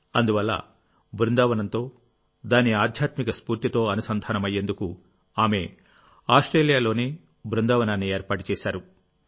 అందువల్లబృందావనంతో దాని ఆధ్యాత్మిక స్ఫూర్తితో అనుసంధానమయ్యేందుకు ఆమె ఆస్ట్రేలియాలోనే బృందావనాన్ని ఏర్పాటు చేశారు